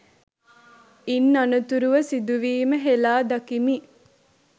ඉන් අනතුරුව සිදුවීම හෙලා දකිමි